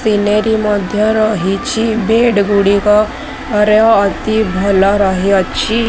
Scenery ମଧ୍ଯ ରହିଛି bed ଗୁଡିକର ଅତି ଭଲ ରହଅଛି।